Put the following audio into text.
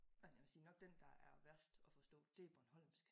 Men jeg vil sige nok den der er værst at forstå det er bornholmsk